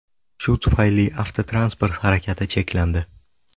Shu sababli avtotransport harakati cheklandi .